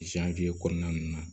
kɔnɔna nunnu na